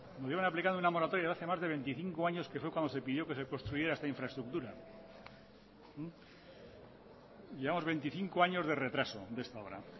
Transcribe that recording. nos llevan aplicando una moratoria de hace más de veinticinco años que fue cuando se pidió que se construyera esta infraestructura llevamos veinticinco años de retraso de esta obra